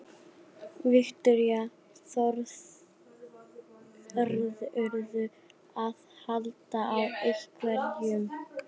Viktoría: Þorðirðu að halda á einhverjum?